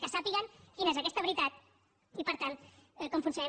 que sàpiguen quina és aquesta veritat i per tant com funcionem